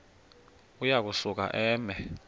uya kusuka eme